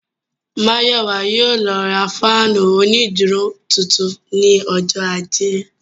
Mayowa yóò lọ ra fáànù onídúró tuntun ní ọjọ́ ajé